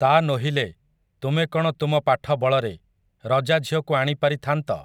ତା ନୋହିଲେ, ତୁମେ କ'ଣ ତୁମ ପାଠ ବଳରେ, ରଜାଝିଅକୁ ଆଣି ପାରିଥାନ୍ତ ।